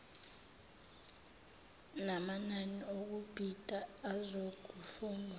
namanani okubhida azokufundwa